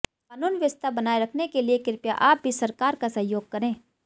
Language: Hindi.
कानून व्यवस्था बनाये रखने के लिए कृपया आप भी सरकार का सहयोग करें